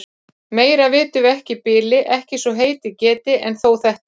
Meira vitum við ekki í bili, ekki svo heitið geti. en þó þetta.